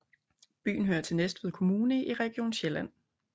Byen hører til Næstved Kommune i Region Sjælland